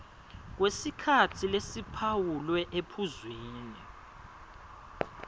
kwesikhatsi lesiphawulwe ephuzwini